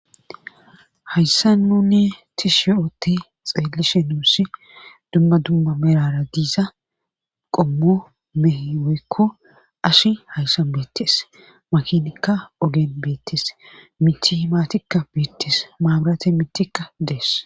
hayssa nunni ti shi ootti xeelishe nuussi dumma dumma merara diiza qommu mehe weykko ashi hayssan beettes makinikka ogen beettes miti maatikka beettees maaburate mitikka dees